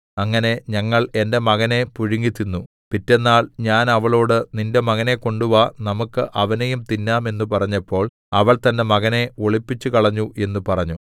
അങ്ങനെ ഞങ്ങൾ എന്റെ മകനെ പുഴുങ്ങിത്തിന്നു പിറ്റെന്നാൾ ഞാൻ അവളോട് നിന്റെ മകനെ കൊണ്ടുവാ നമുക്ക് അവനെയും തിന്നാം എന്ന് പറഞ്ഞപ്പോൾ അവൾ തന്റെ മകനെ ഒളിപ്പിച്ചുകളഞ്ഞു എന്ന് പറഞ്ഞു